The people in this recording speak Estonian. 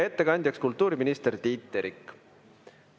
Ettekandja on kultuuriminister Tiit Terik.